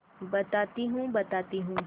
बताती हूँ बताती हूँ